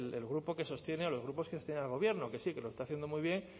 el grupo que sostiene o los grupos que sostienen al gobierno que sí que lo está haciendo muy bien